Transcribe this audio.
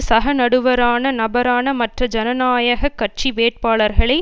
சக நடுவரான நபரான மற்ற ஜனநாயக கட்சி வேட்பாளர்களை